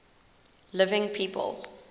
living people